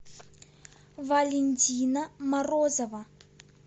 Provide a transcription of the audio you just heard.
валентина морозова